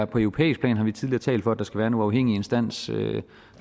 på europæisk plan har vi tidligere talt for at der skal være en uafhængig instans